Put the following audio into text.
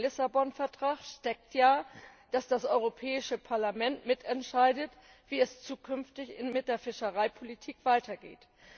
Hinter dem Vertrag von Lissabon steckt ja, dass das Europäische Parlament mitentscheidet, wie es zukünftig mit der Fischereipolitik weitergeht.